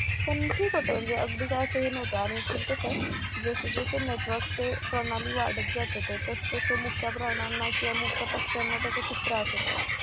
पण ठीक होत अगदी काय एवढं हे नव्हतं आणि ते कस जस जस network ते प्रणाली वाढत जात तस तस मुक्या प्राण्यांना किंवा मुक्या पक्षाना त्याचा खूप त्रास होतोय.